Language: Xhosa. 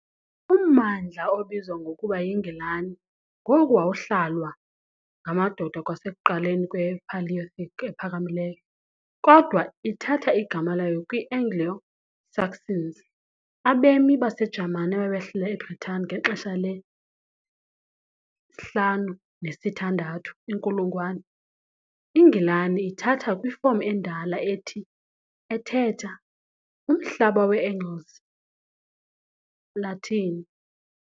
Ummandla obizwa ngokuba yiNgilani ngoku wawuhlalwa ngamadoda kwasekuqaleni kwePaleolithic ePhakamileyo, kodwa ithatha igama layo kwi- Anglo-Saxons, abemi baseJamani ababehlala eBritani ngexesha le- 5th kunye ne -6th inkulungwane, "INgilani" ithatha kwifomu endala ethi ' ethetha "uMhlaba wee-Angles", Latin.